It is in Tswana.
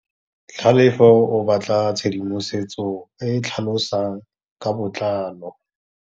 Tlhalefô o batla tshedimosetsô e e tlhalosang ka botlalô.